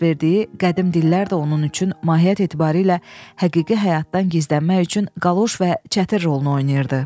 Dərs verdiyi qədim dillər də onun üçün mahiyyət etibarilə həqiqi həyatdan gizlənmək üçün qaloş və çətir rolunu oynayırdı.